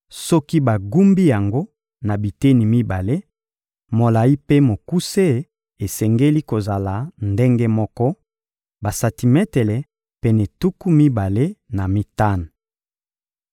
Soki bagumbi yango na biteni mibale, molayi mpe mokuse esengeli kozala ndenge moko: basantimetele pene tuku mibale na mitano.